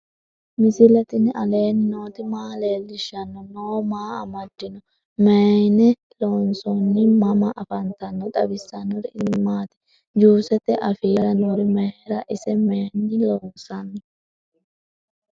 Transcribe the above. misile tini alenni nooti maa leelishanni noo? maa amadinno? Maayinni loonisoonni? mama affanttanno? xawisanori isi maati? juuseti afiira noori maariya? ise mayiinni loonsanni?